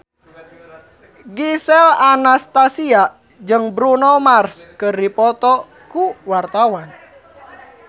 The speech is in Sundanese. Gisel Anastasia jeung Bruno Mars keur dipoto ku wartawan